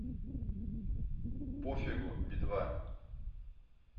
пофигу би два